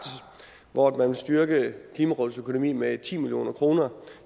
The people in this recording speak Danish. hvor man vil styrke klimarådets økonomi med ti million kroner